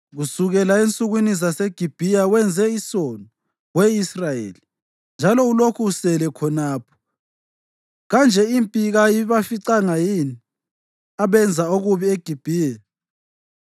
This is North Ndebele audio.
“Kusukela ensukwini zaseGibhiya wenze isono, we Israyeli, njalo ulokhu usele khonapho. Kanje impi kayibaficanga yini abenza okubi eGibhiya?